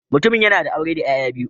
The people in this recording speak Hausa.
Mutumin yana da aure da ’ya’ya biyu